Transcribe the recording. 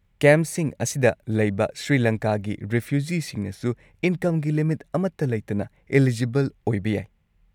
ꯀꯦꯝꯞꯁꯤꯡ ꯑꯁꯤꯗ ꯂꯩꯕ ꯁ꯭ꯔꯤꯂꯪꯀꯥꯒꯤ ꯔꯤꯐ꯭ꯌꯨꯖꯤꯁꯤꯡꯅꯁꯨ ꯏꯟꯀꯝꯒꯤ ꯂꯤꯃꯤꯠ ꯑꯃꯠꯇ ꯂꯩꯇꯅ ꯑꯦꯂꯤꯖꯤꯕꯜ ꯑꯣꯏꯕ ꯌꯥꯏ ꯫